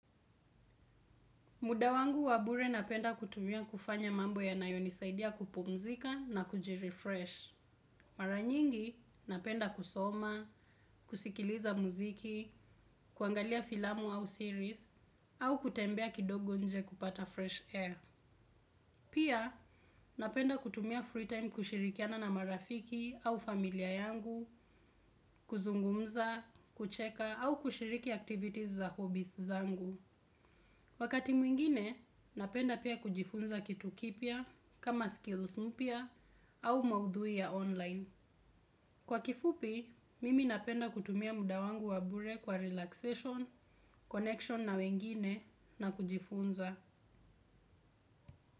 Muda wangu wabure napenda kutumia kufanya mambo ya nayonisaidia kupumzika na kujirefresh. Mara nyingi napenda kusoma, kusikiliza muziki, kuangalia filamu au series, au kutembea kidogo nje kupata fresh air. Pia napenda kutumia free time kushirikiana na marafiki au familia yangu, kuzungumza, kucheka au kushiriki activities za hobbies zangu. Wakati mwingine, napenda pia kujifunza kitu kipya kama skills mpya au maudhui ya online. Kwa kifupi, mimi napenda kutumia muda wangu wa bure kwa relaxation, connection na wengine na kujifunza.